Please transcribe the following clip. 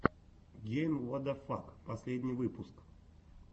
гейм уадафак последний выпуск